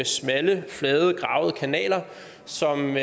smalle flade gravede kanaler som